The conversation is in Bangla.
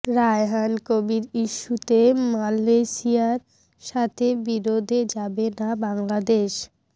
রায়হান কবির ইস্যুতে মালয়েশিয়ার সাথে বিরোধে যাবে না বাংলাদেশ